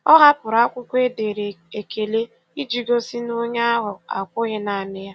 Ọ hapụrụ akwụkwọ e dere ekele iji gosi na onye ahụ akwughị naanị ya.